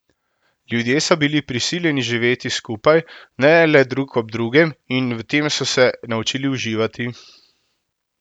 Ljudje so bili prisiljeni živeti skupaj, ne le drug ob drugem, in v tem so se naučili uživati.